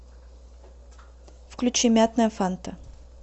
включи мятная фанта